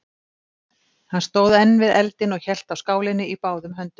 Hann stóð enn við eldinn og hélt á skálinni í báðum höndum.